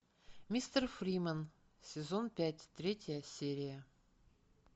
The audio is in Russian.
мистер фримен сезон пять третья серия